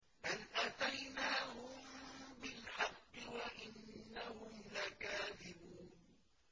بَلْ أَتَيْنَاهُم بِالْحَقِّ وَإِنَّهُمْ لَكَاذِبُونَ